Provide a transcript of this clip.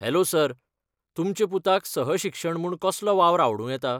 Hello, sir, तुमचे पुताक सहशिक्षण म्हूण कसलो वावर आवडूं येता ?